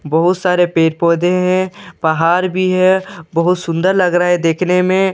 बहुत सारे पेड़ पौधे हैं। पहाड़ भी है। बहुत सुंदर लग रहा है देखने में।